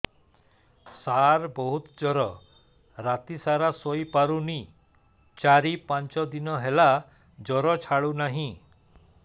ସାର ବହୁତ ଜର ରାତି ସାରା ଶୋଇପାରୁନି ଚାରି ପାଞ୍ଚ ଦିନ ହେଲା ଜର ଛାଡ଼ୁ ନାହିଁ